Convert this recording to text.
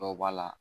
Dɔw b'a la